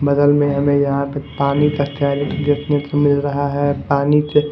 बगल में हमें यहां पे पानी का कैरेट देखने को मिल रहा है पानी के--